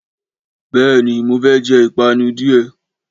béè ni, mo fé jẹ ìpanu díè